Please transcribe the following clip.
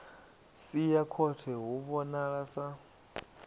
sia khothe hu vhonala sa